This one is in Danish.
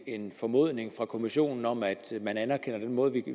en formodning fra kommissionen om at man anerkender den måde